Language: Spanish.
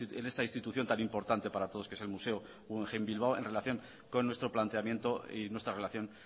en esta institución tan importante para todos que es el museo guggenheim bilbao en relación con nuestro planteamiento y nuestra relación